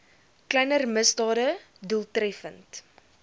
kleiner misdade doeltreffend